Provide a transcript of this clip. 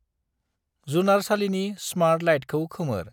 जुनारसालिनि smart लाइटखौ खोमोर।